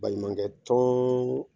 Baɲumankɛ tɔn